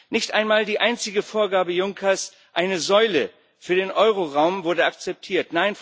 Nicht einmal die einzige Vorgabe Junckers eine Säule für den Euroraum wurde akzeptiert.